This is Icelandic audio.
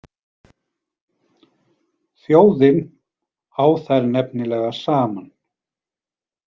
Þjóðin á þær nefnilega saman.